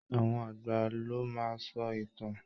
Àwọn àgbà ló máa sọ ìtàn